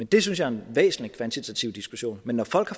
det synes jeg er en væsentlig kvantitativ diskussion men når folk